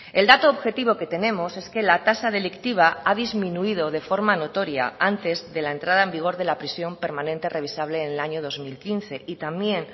el dato objetivo que tenemos es que la tasa delictiva ha disminuido de forma notoria antes de la entrada en vigor de la prisión permanente revisable en el año dos mil quince y también